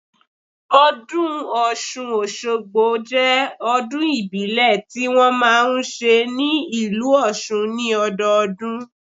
Ọdún Ọ̀ṣun Òṣogbo jẹ́ ọdún ìbílẹ̀ ti wọn máa ń ṣe ní ìlú Òṣun ni ọdọọdún